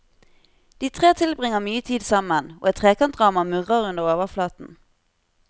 De tre tilbringer mye tid sammen, og et trekantdrama murrer under overflaten.